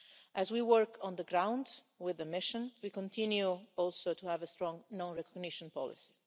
As we work on the ground with the mission, we continue, also, to have a strong non recognition policy.